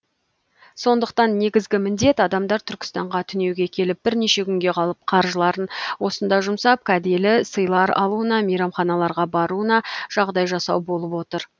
сондықтан негізгі міндет адамдар түркістанға түнеуге келіп бірнеше күнге қалып қаржыларын осында жұмсап кәделі сыйлар алуына мейрамханаларға баруына жағдай жасау болып отыр